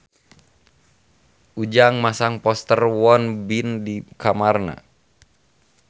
Ujang masang poster Won Bin di kamarna